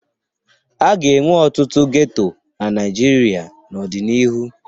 A ga-enwe ọtụtụ geto na Naịjirịa n'ọdịnihu.